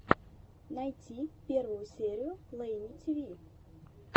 найти первую серию лейни тиви